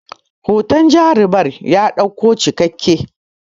hoton jarumar ya ɗauku cikakken